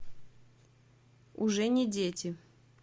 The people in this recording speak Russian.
уже не дети